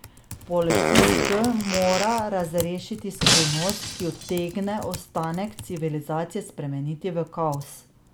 Policist K mora razrešiti skrivnost, ki utegne ostanek civilizacije spremeniti v kaos.